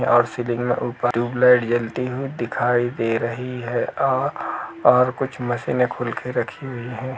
और सीलिंग मे ऊपर ट्यूबलाइट जलती हुई दिखाई दे रही है और और कुछ मशीने खुलके रखी हुई है।